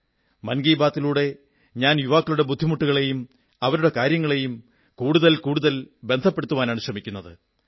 മൻ കീബാത്തിലൂടെ ഞാൻ യുവാക്കളുടെ ബുദ്ധിമുട്ടുകളെയും അവരുടെ കാര്യങ്ങളെയും കൂടുതൽ കൂടുതൽ ബന്ധപ്പെടുത്തുവാനാണു ശ്രമിക്കുന്നത്